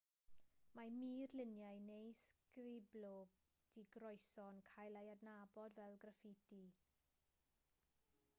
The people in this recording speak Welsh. mae murluniau neu sgriblo digroeso'n cael ei adnabod fel graffiti